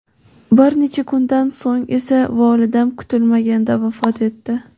Bir necha kundan so‘ng esa volidam kutilmaganda vafot etdi.